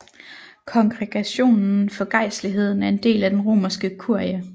Kongregationen for gejstligheden er en del af Den romerske kurie